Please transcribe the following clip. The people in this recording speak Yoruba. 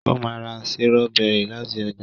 o má rà Sírọ́bẹ́rì lati ọjà